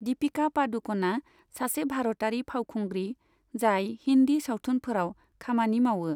दिपिका पादुक'णआ सासे भारतारि फावखुंग्रि जाय हिन्दी सावथुनफोराव खामानि मावो।